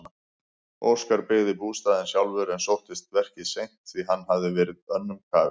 Óskar byggði bústaðinn sjálfur en sóttist verkið seint því hann hafði verið önnum kafinn.